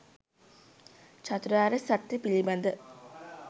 චතුරාර්ය සත්‍යය පිළිබඳව